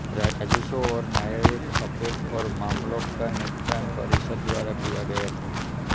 राजस्व और न्यायिक अपील और मामलों का निपटान परिषद द्वारा किया गया था